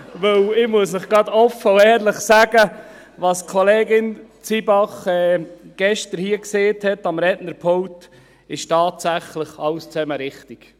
Ich muss Ihnen offen und ehrlich sagen, was Kollegin Zybach gestern am Rednerpult gesagt hat, ist tatsächlich alles richtig.